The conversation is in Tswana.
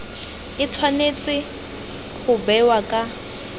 e tshwanetse go bewa ka